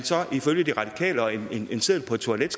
ifølge de radikale og en seddel på et toilet